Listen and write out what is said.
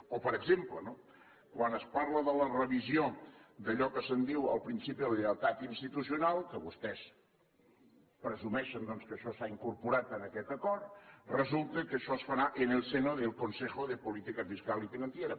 o per exemple quan es parla de la revisió d’allò que se’n diu el principi de la lleialtat institucional que vostès presumeixen doncs que això s’ha incorporat en aquest acord resulta que això es farà en el seno del consejo de política fiscal y financiera